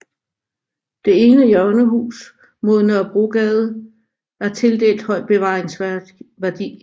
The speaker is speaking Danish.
Det ene hjørnehus mod Nørrebrogade er tildelt høj bevaringsværdi